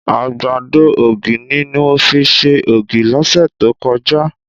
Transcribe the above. Àgbàdo ògì ni mo fi ṣe ògì lọ́sẹ̀ tó kọjá